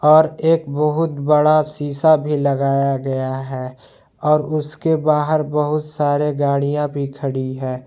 और एक बहुत बड़ा सीसा भी लगाया गया है और उसके बाहर बहुत सारे गाड़ियां भी खड़ी हैं।